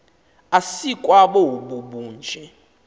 asikwa bobu bunje